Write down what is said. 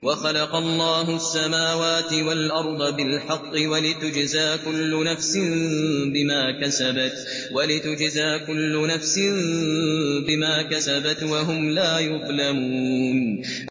وَخَلَقَ اللَّهُ السَّمَاوَاتِ وَالْأَرْضَ بِالْحَقِّ وَلِتُجْزَىٰ كُلُّ نَفْسٍ بِمَا كَسَبَتْ وَهُمْ لَا يُظْلَمُونَ